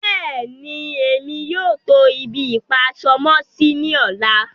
Bẹ́ẹ̀ni, emi yóò tó ibi-ipa-aṣọ-mọ-sí ní ọ̀lá.